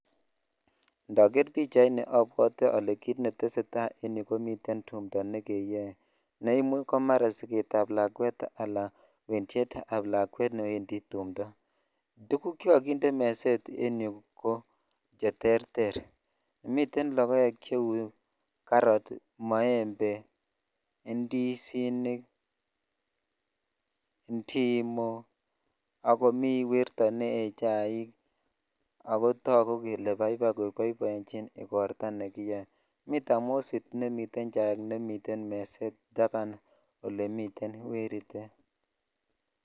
Indoger pichaini abwite ole kut netesetai en yu komiten tumta ne keyoe ne imuch ko mara sight ab lakwet ala wendiet qb lakwet newndi tumto tuguk chekokinde meset en yuu ko terter miten lokoek che karoo, moembe , indizinik ,indimo ak komi werto nee chaik akotogu jele baibai ko boibochin igorta ne kiyoe miten tamosit nemite chaik nemuten meset taban olemiten wertet.